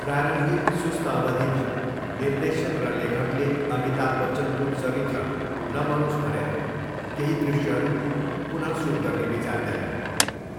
प्रारम्भिक सुस्त अवधिमा, निर्देशक र लेखकले अमिताभ बच्चनको चरित्र नमरोस् भनेर केही दृश्यहरू पुन सुट गर्ने विचार गरे।